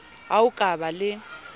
ho a ka ba le